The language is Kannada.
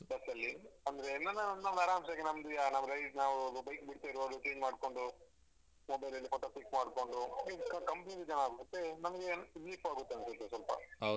Bus ಅಲ್ಲಿ ಅಂದ್ರೆ ಆರಾಂಸೆಗೆ ನಮ್ದು ಯಾ ನಾವು ride ನಾವು bike ಬಿಡ್ತಿರುವಾಗ change ಮಾಡ್ಕೊಂಡು mobile ಅಲ್ಲಿ photo click ಮಾಡ್ಕೊಂಡು ಮತ್ತೆ ನಮ್ಗೆ ತಿರ್ಗ್ಲಿಕ್ಕೂ ಆಗುತ್ತೆ ಅನ್ಸುತ್ತೆ ಸ್ವಲ್ಪ.